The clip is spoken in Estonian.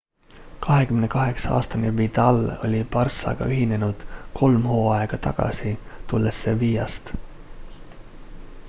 28-aastane vidal oli barcaga ühinenud kolm hooaega tagasi tulles sevillast